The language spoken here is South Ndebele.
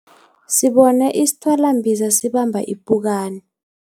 Sibone isithwalambiza sibamba ipukani.